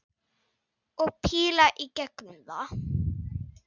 Og píla í gegnum það!